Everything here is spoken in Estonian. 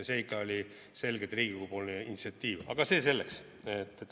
See ikka oli selgelt Riigikogu initsiatiiv, aga see selleks.